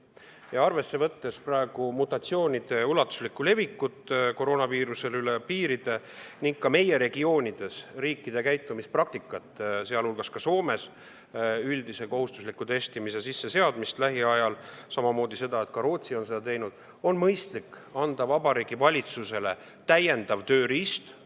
Võttes arvesse praegust koroonaviiruse mutatsioonide ulatuslikku levikut üle piiride ning meie regiooni riikide käitumispraktikat, sealhulgas Soome kavatsust seada lähiajal sisse üldine kohustuslik testimine, samamoodi seda, et Rootsi on seda teinud, on mõistlik anda Vabariigi Valitsusele täiendav tööriist.